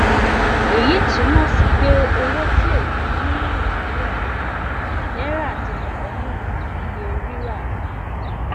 eyi tumọ si pe owo ti ofin ni naijiria naira ti padanu iye rira